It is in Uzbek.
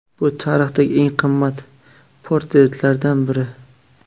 Bu tarixdagi eng qimmat portretlardan biri.